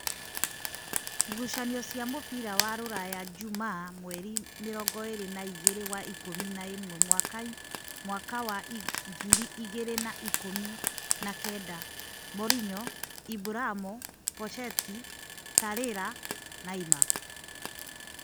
Ngucanio cia mũbira wa-Ruraya Jumaa mweri mĩrongoĩrĩ na-igĩrĩ wa ikũmi na ĩmwe mwaka wa ngirĩ igĩrĩ na ikũmi na-kenda : Morinyo, Iburamo, Posheti, Tarira, Naima